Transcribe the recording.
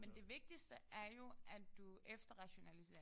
Men det vigtigste er jo at du efterrationaliserer det